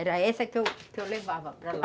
Era essa que eu levava para lá.